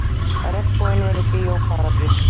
Regnboginn verður Bíó Paradís